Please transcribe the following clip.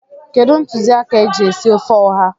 Kedụ ntụziaka e ji esi ofe ụha?